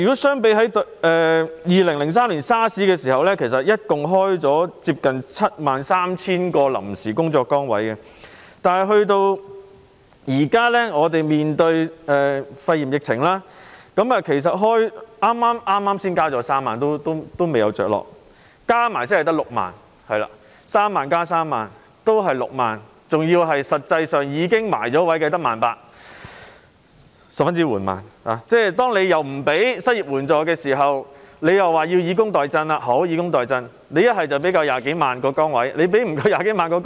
相較2003年 SARS 時期，當時合共開設接近 73,000 個臨時工作崗位，但面對肺炎疫情，當局剛剛才宣布開設3萬個職位，但仍未落實，加上先前開設的職位才是6萬個職位 ——3 萬個職位加上3萬個職位，只有6萬個職位——而實際上已落實的更只有 18,000 個，這是十分緩慢的。